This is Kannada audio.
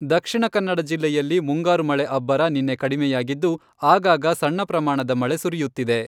ದಕ್ಷಿಣ ಕನ್ನಡ ಜಿಲ್ಲೆಯಲ್ಲಿ ಮುಂಗಾರು ಮಳೆ ಅಬ್ಬರ ನಿನ್ನೆ ಕಡಿಮೆಯಾಗಿದ್ದು, ಆಗಾಗ ಸಣ್ಣ ಪ್ರಮಾಣದ ಮಳೆ ಸುರಿಯುತ್ತಿದೆ.